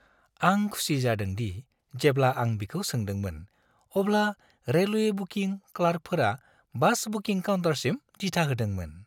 आं खुसि जादों दि जेब्ला आं बिखौ सोंदोंमोन, अब्ला रेलवे बुकिं क्लार्कफोरा बास बुकिं काउन्टारसिम दिथा होदोंमोन।